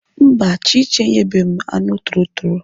Mba, Chichi enyebeghị m anụ torotoro.